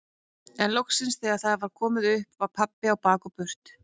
En loksins þegar það var komið upp að var pabbi á bak og burt.